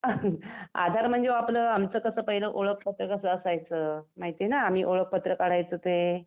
आधार म्हणजे अहो आपलं आमचं कसं पहिलं ओळखपत्र असायचं, माहिती आहे ना आम्ही ओळखपत्र काढायचो ते?